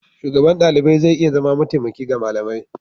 Shugaban ɗalibai zai iya zama mataimaki ga malami.